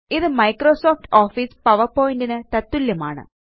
ഇത് Microsoft Office PowerPoint ന് തത്തുല്യമാണ്